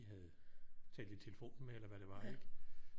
Havde talt i telefon med eller hvad det var ikke